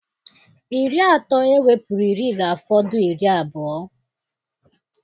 Iri atọ ewepụrụ iri ga-afọdụ iri abụọ.